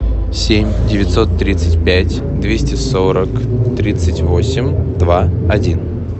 семь девятьсот тридцать пять двести сорок тридцать восемь два один